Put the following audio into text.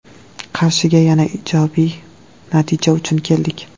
Qarshiga yana ijobiy natija uchun keldik.